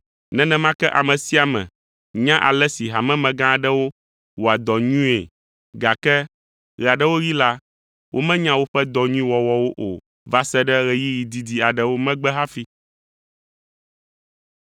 Nenema ke ame sia ame nya ale si hamemegã aɖewo wɔa dɔ nyuie, gake ɣe aɖewo ɣi la, womenya woƒe dɔ nyui wɔwɔwo o va se ɖe ɣeyiɣi didi aɖewo megbe hafi.